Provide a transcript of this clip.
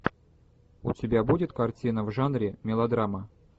у тебя будет картина в жанре мелодрама